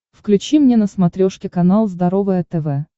включи мне на смотрешке канал здоровое тв